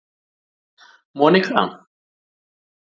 Monika